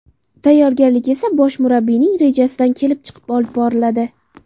Tayyorgarlik esa bosh murabbiyning rejasidan kelib chiqib olib boriladi.